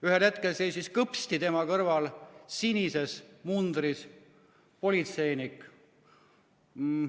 Ühel hetkel seisis kõpsti tema kõrval sinises mundris politseinik.